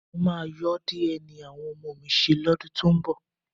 Mo máa yọ́ DNA àwọn ọmọ mi ṣe lọ́dún tó ń bọ̀